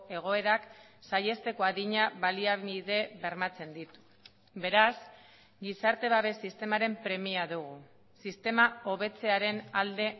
egoerak saihesteko adina baliabide bermatzen ditu beraz gizarte babes sistemaren premia dugu sistema hobetzearen alde